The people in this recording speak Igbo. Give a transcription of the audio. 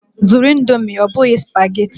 Zụrụ Indomi ọ bụghị spageti!